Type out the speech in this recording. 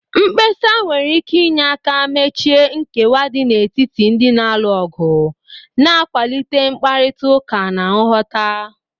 Mkpesa nwere ike inye aka mechie nkewa dị n'etiti ndị na-alụ ọgụ, na-akwalite mkparịta ụka na nghọta